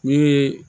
Ni